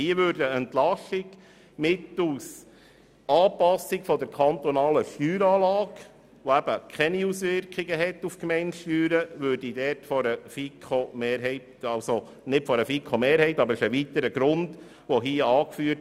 Hier würde eine Entlastung mittels Anpassung der kantonalen Steueranlage bevorzugt, welche keine Auswirkung auf die Gemeindesteuern hat.